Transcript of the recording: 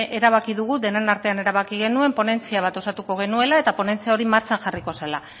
erabaki dugu denon artean erabaki genuen ponentzia bat osatuko genuela eta ponentzi hori martxan jarriko zela